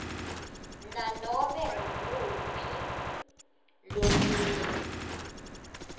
nanobe ngumuphi lomunye